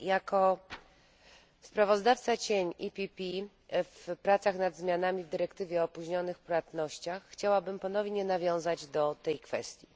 Jako sprawozdawca cień PPE w pracach nad zmianami w dyrektywie o opóźnionych płatnościach chciałabym ponownie nawiązać do tej kwestii.